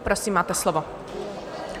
Prosím, máte slovo.